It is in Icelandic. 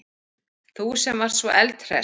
Þú sem varst svo eldhress.